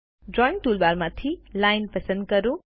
drawing ટુલબારમાંથી line પસંદ કરો